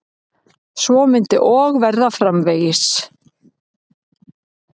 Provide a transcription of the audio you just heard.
Svo myndi og verða framvegis.